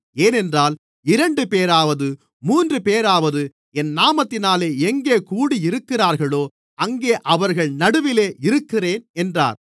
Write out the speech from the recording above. ஏனென்றால் இரண்டுபேராவது மூன்றுபேராவது என் நாமத்தினாலே எங்கே கூடியிருக்கிறார்களோ அங்கே அவர்கள் நடுவிலே இருக்கிறேன் என்றார்